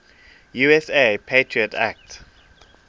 usa patriot act